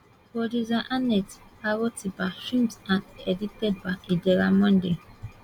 producer annette arotiba filmed and edited by idara monday